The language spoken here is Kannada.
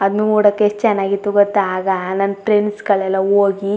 ಅದ್ ನೋಡಕ್ ಎಷ್ಟ ಚನ್ನಾಗಿತ್ತು ಗೊತ್ತಾ ಆಗ ನನ್ನ ಫ್ರೆಂಡ್ಸ್ ಗಳೆಲ್ಲಾ ಹೋಗಿ.